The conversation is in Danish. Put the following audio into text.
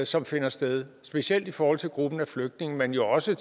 som finder sted specielt i forhold til gruppen af flygtninge men jo også i